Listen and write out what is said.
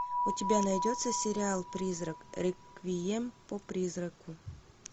у тебя найдется сериал призрак реквием по призраку